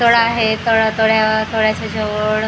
तळ आहे तळ तळ्या तळ्याचा जवळ --